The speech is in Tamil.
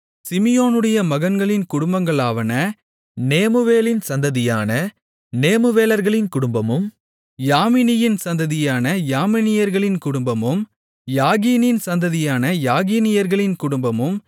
சிமியோனுடைய மகன்களின் குடும்பங்களாவன நேமுவேலின் சந்ததியான நேமுவேலர்களின் குடும்பமும் யாமினியின் சந்ததியான யாமினியர்களின் குடும்பமும் யாகீனின் சந்ததியான யாகீனியர்களின் குடும்பமும்